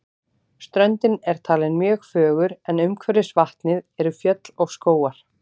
Ströndin er talin mjög fögur en umhverfis vatnið eru fjöll og skógar.